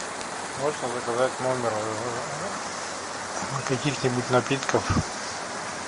можно заказать в номер каких нибудь напитков